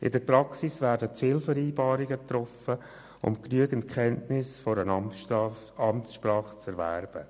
In der Praxis werden Zielvereinbarungen getroffen, um genügend Kenntnisse einer Amtssprache zu erwerben.